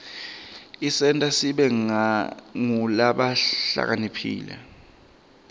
isenta sibe ngulabahlakaniphile